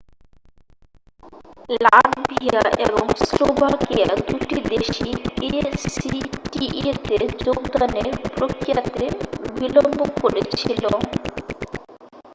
Latvia এবং Slovakia দুটি দেশই acta-তে যোগদানের প্রক্রিয়াতে বিলম্ব করেছিল।